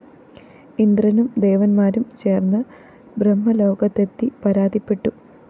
ഇന്ദ്രനും ദേവന്മാരും ചേര്‍ന്ന് ബ്രഹ്മലോകത്തെത്തി പരാതിപ്പെട്ടു